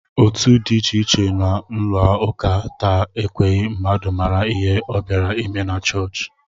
Otu dị iche iche nọ n'ụlọụka taa ekweghị mmadụ mara ihe ọ bịara ime na chọọchị